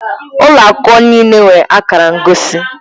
Ụlọ akwụkwọ niile nwere akara ngosi